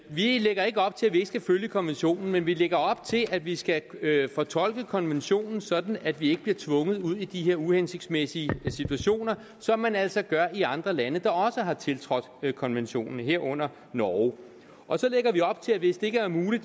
vi lægger ikke op til at vi ikke skal følge konventionen men vi lægger op til at vi skal fortolke konventionen sådan at vi ikke bliver tvunget ud i de her uhensigtsmæssige situationer som man altså gør i andre lande der også har tiltrådt konventionen herunder norge og så lægger vi op til at hvis det ikke er muligt